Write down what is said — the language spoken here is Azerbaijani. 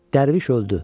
Dərviş öldü.